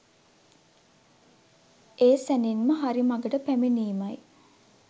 ඒ සැණින්ම හරි මගට පැමිණීමයි.